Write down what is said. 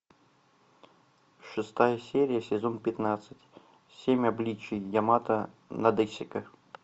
шестая серия сезон пятнадцать семь обличий ямато надэсико